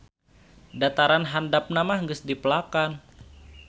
Dataran handapna mah geus dipelakan.